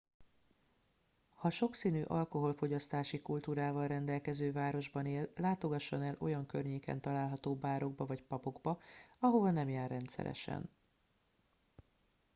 ha sokszínű alkoholfogyasztási kultúrával rendelkező városban él látogasson el olyan környéken található bárokba vagy pubokba ahová nem jár rendszeresen